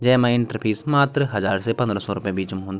जैमा entry fee मात्र हजार से पंद्रह सौ रुपे बीच म हुन्द।